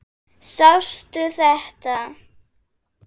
Sástu þetta?